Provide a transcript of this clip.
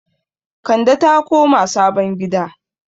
Kande ta koma sabon gida